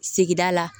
Sigida la